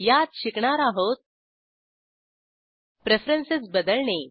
यात शिकणार आहोत प्रेफरेन्सेस बदलणे